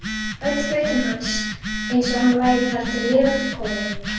Öll fötin hans eins og hann væri þar lifandi kominn.